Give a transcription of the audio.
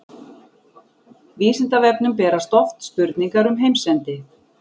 Vísindavefnum berast oft spurningar um heimsendi.